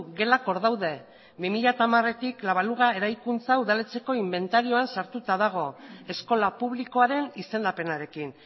gelak hor daude bi mila hamaretik la baluga eraikuntza udaletxeko inbentarioan sartuta dago eskola publikoaren izendapenarekin